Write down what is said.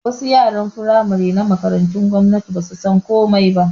Wasu yaran Firamare na Makarantu gwamnatin basu san komai ba